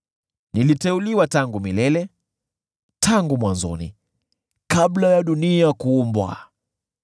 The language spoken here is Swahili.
niliteuliwa tangu milele, tangu mwanzoni, kabla ya dunia kuumbwa.